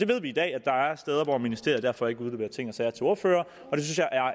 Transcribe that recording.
ved i dag at der er steder hvor ministeriet derfor ikke udleverer ting og sager til ordførererne